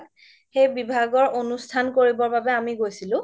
সেই বিভাগৰ অনুষ্ঠান কৰিবৰ বাবে আমি গৈছিলো